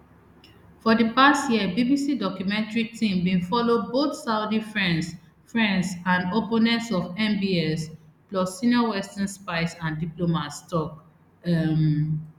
for di past year bbc documentary team bin follow both saudi friends friends and opponents of mbs plus senior western spies and diplomats tok um